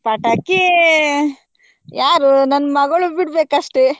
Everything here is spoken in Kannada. ಪಟಾಕಿ ಯಾರು ನನ್ ಮಗಳು ಬಿಡ್ಬೇಕು ಅಷ್ಟೆ.